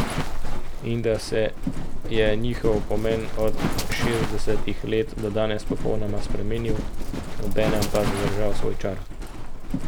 In da se je njihov pomen od šestdesetih let do danes popolnoma spremenil, obenem pa zadržal svoj čar?